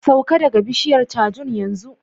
Sauka daga bishiyar cajun yanzu!